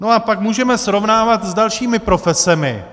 No a pak můžeme srovnávat s dalšími profesemi.